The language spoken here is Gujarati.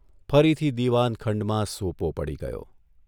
ફરીથી દીવાનખંડમાં સોપો પડી ગયો.